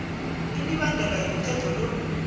imibandela yomthetho lo